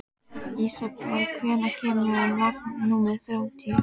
Ísabel, hvenær kemur vagn númer þrjátíu?